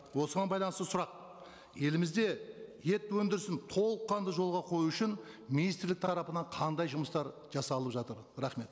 осыған байланысты сұрақ елімізде ет өндірісін толыққанды жолға қою үшін министрлік тарапынан қандай жұмыстар жасалып жатыр рахмет